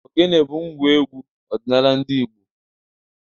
Ogene bụ ngwa egwu ọdịnala ndị Igbo.